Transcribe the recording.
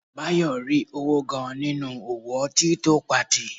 Báyọ̀ rí owó gan-an nínú òwò ọtí tó patì